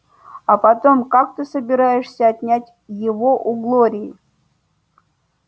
а потом как ты собираешься отнять его у глории